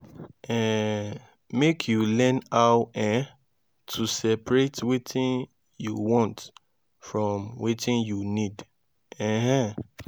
um mek yu learn how um to seperate wetin yu want from wetin yu nid um